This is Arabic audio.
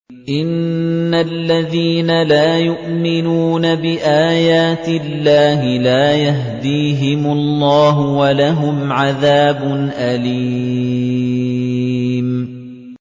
إِنَّ الَّذِينَ لَا يُؤْمِنُونَ بِآيَاتِ اللَّهِ لَا يَهْدِيهِمُ اللَّهُ وَلَهُمْ عَذَابٌ أَلِيمٌ